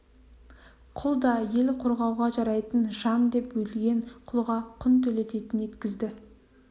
құл да ел қорғауға жарайтын жан деп өлген құлға құн төлететін еткізді